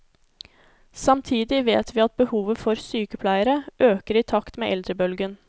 Samtidig vet vi at behovet for sykepleiere øker i takt med eldrebølgen.